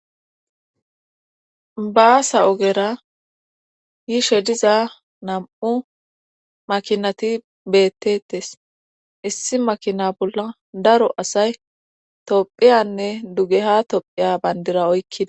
Baasa ogera yishe diza nam7u makinati bettetes issi makina bolla daro asay tophiyanne duge ha tophiya bandira oykkida.